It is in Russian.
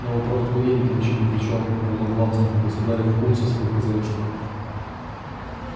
на вопрос кто едет ямщик отвечал громогласно государев кум со своею хозяюшкою